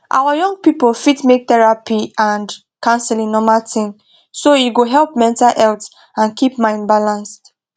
our young people fit make therapy and counseling normal thing so e go help mental health and keep mind balanced